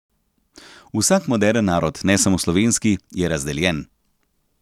Vsak moderen narod, ne samo slovenski, je razdeljen.